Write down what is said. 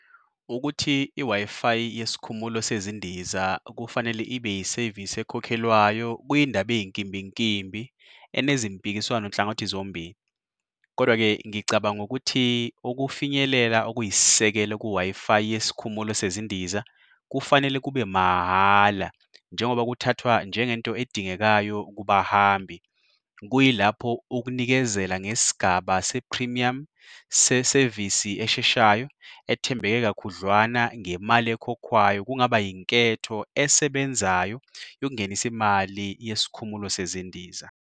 Ukuthi i-Wi-Fi yesikhumulo sezindiza kufanele ibe yisevisi ekhokhelwayo kwiyindaba eyinkimbinkimbi enezimpikiswano nhlangothi zombili. Kodwa-ke ngicabanga ukuthi ukufinyelela okuyisisekelo ku-Wi-Fi yesikhumulo sezindiza kufanele kube mahhala njengoba kuthathwa njengento edingekayo kubahambi. Kuyilapho ukunikezela ngesigaba se-premium sesevisi esheshayo ethembeke kakhudlwana ngemali ekhokhwayo kungaba yinketho esebenzayo yokungenisa imali yesikhumulo sezindiza.